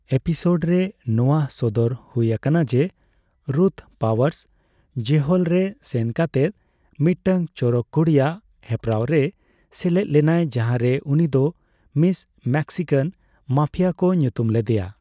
ᱮᱯᱤᱥᱳᱰᱨᱮ ᱱᱚᱣᱟ ᱥᱚᱫᱚᱨ ᱦᱳᱭ ᱟᱠᱟᱱᱟ ᱡᱮᱹ ᱨᱩᱛᱷ ᱯᱟᱣᱟᱨᱥ ᱡᱮᱦᱳᱞᱨᱮ ᱥᱮᱱ ᱠᱟᱛᱮᱫ ᱢᱤᱫᱴᱟᱝ ᱪᱚᱨᱚᱠ ᱠᱩᱲᱤᱭᱟᱜ ᱦᱮᱯᱨᱟᱣ ᱨᱮ ᱥᱮᱞᱮᱫ ᱞᱮᱱᱟᱭ ᱡᱟᱦᱟᱸᱨᱮ ᱩᱱᱤᱫᱚ ᱢᱤᱥ ᱢᱮᱠᱥᱤᱠᱟᱱ ᱢᱟᱯᱷᱤᱭᱟ ᱠᱚ ᱧᱩᱛᱩᱢ ᱞᱮᱫᱮᱭᱟ ᱾